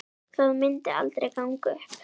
Það myndi aldrei ganga upp.